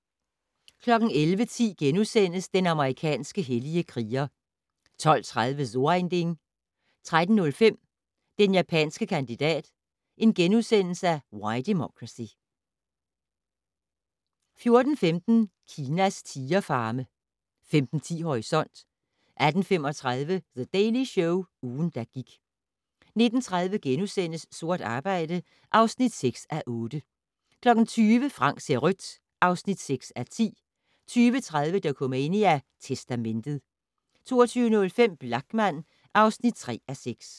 11:10: Den amerikanske hellige kriger * 12:30: So ein Ding 13:05: Den japanske kandidat - Why Democracy * 14:15: Kinas tigerfarme 15:10: Horisont 18:35: The Daily Show - ugen, der gik 19:30: Sort arbejde (6:8)* 20:00: Frank ser rødt (6:10) 20:30: Dokumania: Testamentet 22:05: Blachman (3:6)